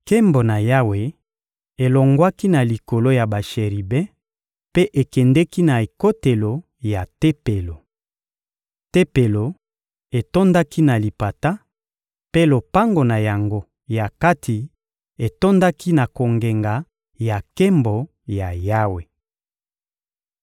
Nkembo ya Yawe elongwaki na likolo ya basheribe mpe ekendeki na ekotelo ya Tempelo. Tempelo etondaki na lipata, mpe lopango na yango ya kati etondaki na kongenga ya Nkembo ya Yawe.